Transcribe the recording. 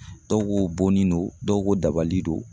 Dɔw ko bonni no dɔw ko dabali don